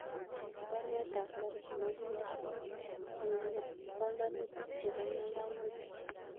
Cheng baruet ab Safaricom aginde en panganutigkyuk chebo ngalalutik